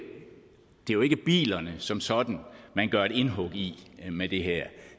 er bilerne som sådan man gør et indhug i med det her